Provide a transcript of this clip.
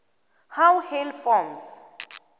how hail forms